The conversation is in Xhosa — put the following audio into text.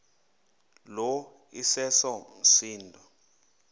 lo iseso msindo